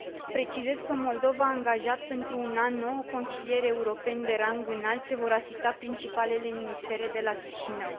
Precizez că Moldova a angajat pentru un an nouă consilieri europeni de rang înalt ce vor asista principalele ministere de la Chișinău.